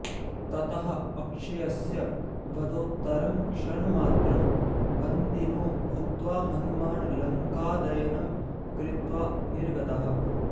ततः अक्षयस्य वधोत्तरं क्षणमात्रं बन्दिनो भूत्वा हनुमान् लङ्कादयनं कृत्वा निर्गतः